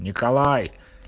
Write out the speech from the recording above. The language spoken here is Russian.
николай